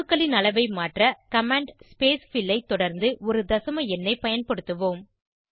அணுக்களின் அளவை மாற்ற கமாண்ட் ஸ்பேஸ்ஃபில் ஐ தொடர்ந்து ஒரு தசம எண்ணை பயன்படுத்துவோம்